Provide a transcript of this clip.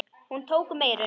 Hún tók um eyrun.